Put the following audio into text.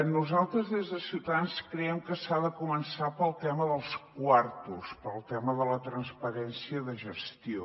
nosaltres des de ciutadans creiem que s’ha de començar pel tema dels quartos pel tema de la transparència de gestió